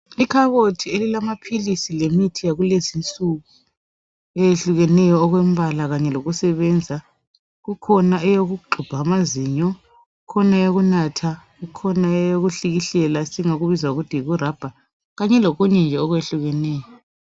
Ikhabothi elilamaphilisi lemithi yakulezinsuku eyehlukeneyo okwembala kanye lokusebenza, kukhona eyokuxubha amazinyo, kukhona eyokunatha, kukhona eyokuhlikihlela, esingathi yikurabha kanye lokunye nje okuyehlukeneyo.